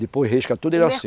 Depois risca tudo ele assim.